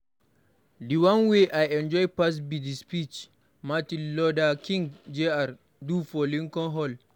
The one wey I enjoy pass be the speech Martin Luther King Jr. do for Lincoln hall.